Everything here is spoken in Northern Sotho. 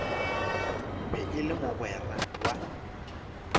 be e le mogwera wa